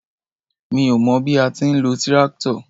Mi ó mọ bí a ti ń lo tíráktọ̀.